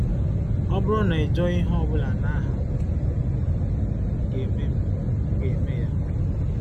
“Ọ bụrụ na i jụọ ihe ọ bụla n’aha m, m ga-eme m, m ga-eme ya.”